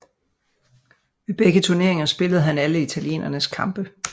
Ved begge turneringer spillede han alle italienernes kampe